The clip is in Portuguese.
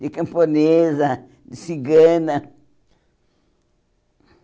De camponesa, de cigana.